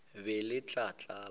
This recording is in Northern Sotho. le be le tla tlala